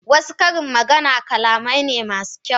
wasu karin magana ƙalamai ne masu kyau.